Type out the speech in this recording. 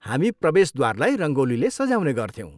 हामी प्रवेशद्वारलाई रङ्गोलीले सजाउने गर्थ्यौँ।